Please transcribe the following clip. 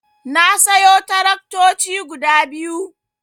Na sayo taraktoci guda biyu.